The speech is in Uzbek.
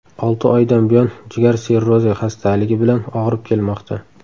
Olti oydan buyon jigar sirrozi xastaligi bilan og‘rib kelmoqda.